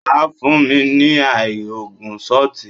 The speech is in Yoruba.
Wà á fún mi ní àì angú ṣọtì.